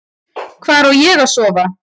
Hvar á ég að sofa?